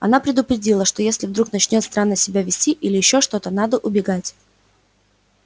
она предупредила что если вдруг начнёт странно себя вести или ещё что-то надо убегать